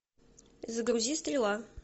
загрузи стрела